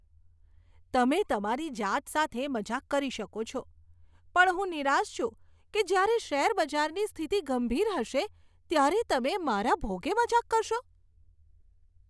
તમે તમારી જાત સાથે મજાક કરી શકો છો, પણ હું નિરાશ છું કે જ્યારે શેરબજારની સ્થિતિ ગંભીર હશે ત્યારે તમે મારા ભોગે મજાક કરશો.